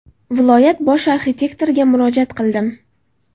Viloyat bosh arxitektoriga murojaat qildim.